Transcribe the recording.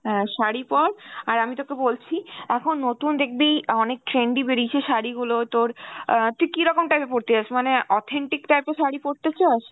হ্যাঁ শাড়ি পর আর আমি তোকে বলছি এখন নতুন দেখবি অনেক trendy বেরিয়েছে শাড়িগুলো তোর অ্যাঁ তুই কীরকম type এর পরতে চাস মানে authentic type এর শাড়ি পরতে চাস?